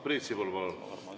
Priit Sibul, palun!